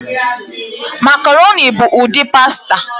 Makaroni bụ ụdị pasta